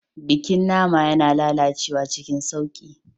Bikin nama yana lalacewa cikin sauƙi.